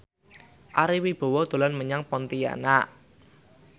Ari Wibowo dolan menyang Pontianak